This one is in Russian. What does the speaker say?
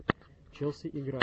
челси игра